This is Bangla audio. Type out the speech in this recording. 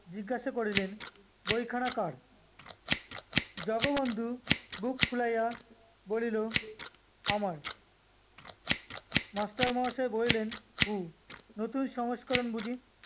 জিজ্ঞাসা করিলেন, ব‍ইখানা কার? জগবন্ধু বুক ফুলাইয়া বলিল, আমার। master মহাশয় বলিলেন, হুঁ, নতুন সংস্করণ বুঝি?